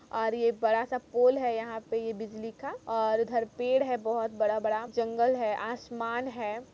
और ये बड़ा सा पोल है यह पे बिजली का और उधर पेड़ हैबहुत बड़ा-बड़ा जंगल है आसमान है।